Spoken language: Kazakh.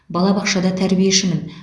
балабақшада тәрбиешімін